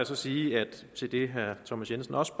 så sige til det herre thomas jensen også